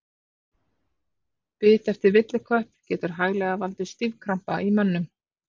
Bit eftir villikött getur hæglega valdið stífkrampa í mönnum.